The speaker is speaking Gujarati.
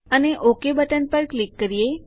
અને ઓક બટન પર ક્લિક કરીએ